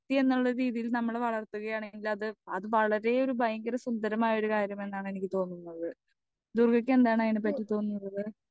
speaker 2 വെക്തിയെന്നുള്ള രീതിയിൽ നമ്മൾ വളർത്തുകയാണ് എങ്കിലത്‌ അത് ഭളരെ ഒരു ഭയങ്കര സുന്ദരമായൊരു കാര്യമെന്നാണ് എനിക്ക് തോന്നുന്നത് ദുർഗയ്ക്ക് എന്താണ് അയിനെ പറ്റി തോന്നുന്നത്